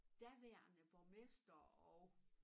Daværende borgmester og